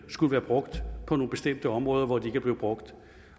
skulle være brugt på nogle bestemte områder hvor de vi blevet brugt